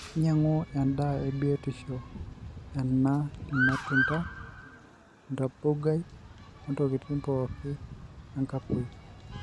inyiangu endaa bioto ena ilmatunda, endabogai, ontokitin pooki enkapoi,